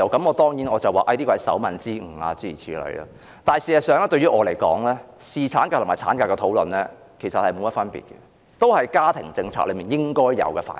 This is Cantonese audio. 我當然答說這是手民之誤，但事實上對我來說，侍產假與產假的討論並無分別，均屬家庭政策的應有範疇。